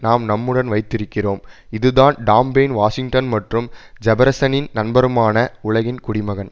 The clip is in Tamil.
நாம் நம்முடன் வைத்திருக்கிறோம் இது தான் டாம் பெயின் வாஷிங்டன் மற்றும் ஜெபர்சனின் நண்பருமான உலகின் குடிமகன்